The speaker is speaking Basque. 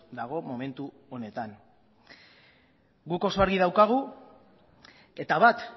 dago momentu honetan guk oso argi daukagu eta bat